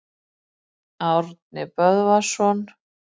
Árni Böðvarsson.